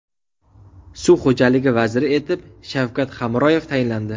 Suv xo‘jaligi vaziri etib Shavkat Hamroyev tayinlandi.